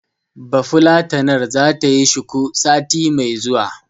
Bafulatanar zata yi shuku, sati mai zuwa.